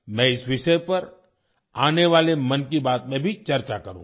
मैं इस विषय पर आने वाले 'मन की बात' में भी चर्चा करूँगा